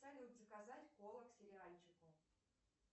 салют заказать колу к сериальчику